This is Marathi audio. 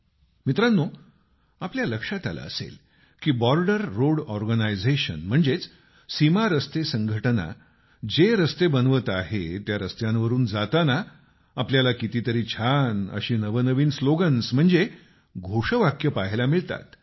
मित्रांनो आपल्या लक्षात आलं असेल की बॉर्डर रोड ऑर्गनायझेशन म्हणजेच सीमा रस्ते संघटना जे रस्ते बनवत आहे त्या रस्त्यांवरून जाताना आपल्याला कितीतरी छान अशी नवनवीन स्लोगन्स म्हणजेच घोषवाक्य पाहायला मिळतात